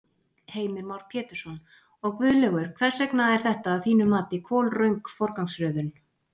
Heimir Már Pétursson: Og Guðlaugur, hvers vegna er þetta að þínu mati kolröng forgangsröðun?